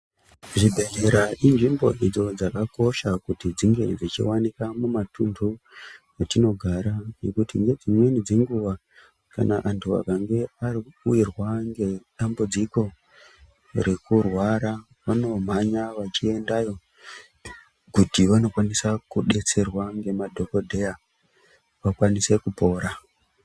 Zvibhedhleya inzvimbo idzo dzakakosha kuti dzinge dzichivanikwa mumatunhu atinogara. Nedzimweni dzenguva kana antu akange avirwa ngedambudziko rekurwara vanomhanya vachiendayo. Kuti vanokwanisa kubetserwa ngemadhogodheya vakwanise kupora.